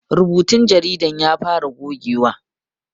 Rubutun jaridan ya fara gogewa